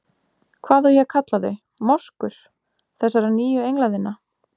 Hvað á ég að kalla þau- moskur- þessara nýju engla þinna.